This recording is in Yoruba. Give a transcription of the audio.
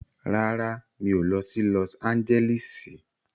Rárá, mi ò lọ sí Lọs Ánjẹ́lísì.